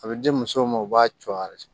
A bɛ di musow ma u b'a co a yɛrɛ de